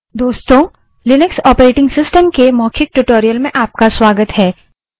दोस्तों Linux operating system के मौखिक tutorial में आपका स्वागत है